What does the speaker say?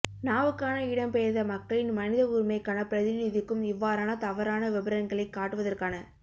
நா வுக்கான இடம்பெயர்ந்த மக்களின் மனித உரிமைக்கான பிரநிதிக்கும் இவ்வாறான தவறான விபரங்களை காட்டுவதற்கான